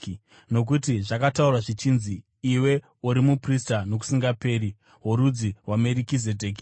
Nokuti zvakataurwa zvichinzi: “Iwe uri muprista nokusingaperi, worudzi rwaMerikizedheki.”